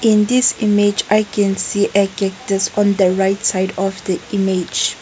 in this image i can see a catus on the right side of the image.